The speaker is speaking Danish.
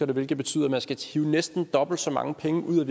hvilket betyder at man skal hive næsten dobbelt så mange penge ud af